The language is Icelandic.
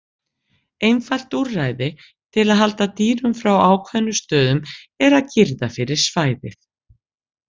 Einfalt úrræði til að halda dýrum frá ákveðnum stöðum er að girða fyrir svæðið.